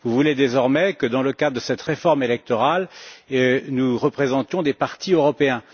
Vous voulez désormais que dans le cadre de cette réforme électorale, nous représentions des partis européens.